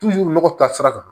nɔgɔ ta sira kan